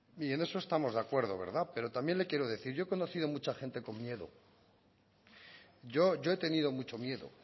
y en eso estamos de acuerdo verdad pero también le quiero decir yo he conocido a mucha gente con miedo yo he tenido mucho miedo